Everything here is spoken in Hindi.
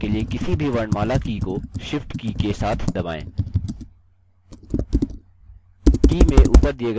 बड़े अक्षरों में type करने के लिए किसी भी वर्णमाला की को shift की के साथ दबाएँ